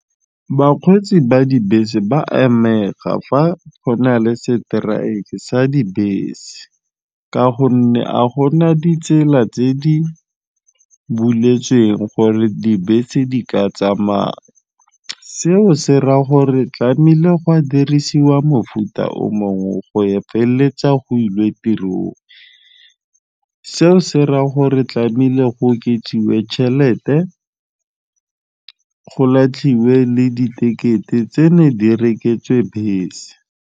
Bakgweetsi ba dibese ba fa go na le seteraeke sa dibese ka gonne a go na ditsela tse di buleletsweng gore dibese di ka tsamaya seo se raya gore tlame'ile go a dirisiwa mofuta o mongwe go e feleletsa go ilwe tirong, seo se raya gore tlame'ile go oketsiwe tšhelete go latlhilwe le ditekete tse ne di rekisetswe bese.